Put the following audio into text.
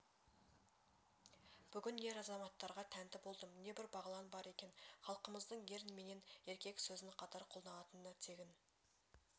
бүгін ер-азаматтарға тәнті болдым небір бағлан бар екен халқымыздың ер менен еркек сөзін қатар қолданатыны тегін